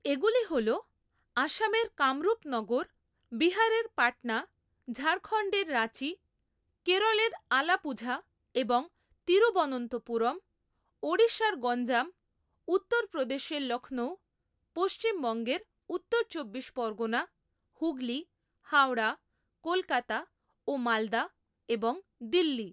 এগুলি হল আসামের কামরূপ নগর, বিহারের পাটনা, ঝাড়খন্ডের রাঁচি, কেরলের আলাপুঝা এবং তিরুবনন্তপুরম, ওড়িশার গঞ্জাম, উত্তর প্রদেশের লক্ষ্ণৌ, পশ্চিমবঙ্গের উত্তর চব্বিশশ পরগনা, হুগলী, হাওড়া, কলকাতা ও মালদা এবং দিল্লি।